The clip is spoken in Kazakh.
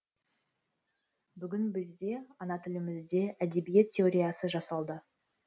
бүгін бізде ана тілімізде әдебиет теориясы жасалды